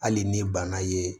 Hali ni bana ye